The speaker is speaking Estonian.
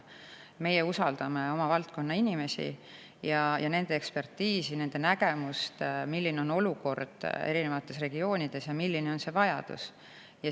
Meie usaldame oma valdkonna inimesi ja nende ekspertiisi, nende nägemust, milline on olukord erinevates regioonides ja milline on see vajadus.